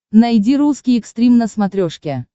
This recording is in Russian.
найди русский экстрим на смотрешке